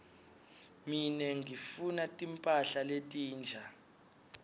mine ngifuna timphahla letinsha